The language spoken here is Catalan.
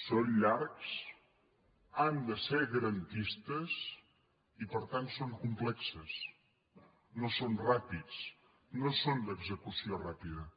són llargs han de ser garantistes i per tant són complexos no són ràpids no són d’execu·ció ràpida